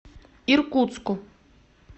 иркутску